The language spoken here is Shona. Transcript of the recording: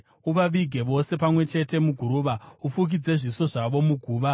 Uvavige vose pamwe chete muguruva; ufukidze zviso zvavo muguva.